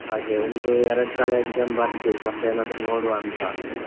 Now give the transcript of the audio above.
ಹಾಗೆ ಒಂದು ಎರಡ್ಸಲ exam ಬರ್ದು ಮತ್ತೇನಾದ್ರು ನೋಡುವಂತಾ.